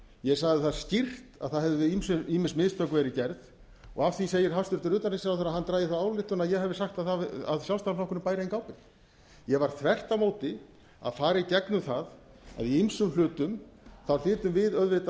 ég sagði það skýrt að það hefðu ýmis mistök verið gerð af því segir hæstvirtur utanríkisráðherra að hann dragi þá ályktun að ég hafi sagt að sjálfstæðisflokkurinn bæri enga ábyrgð ég var þvert á móti að fara í gegnum það að í ýmsum hlutum hlytum við auðvitað